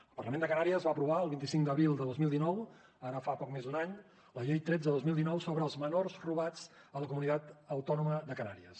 el parlament de canàries va aprovar el vint cinc d’abril de dos mil dinou ara fa poc més d’un any la llei tretze dos mil dinou sobre els menors robats a la comunitat autònoma de canàries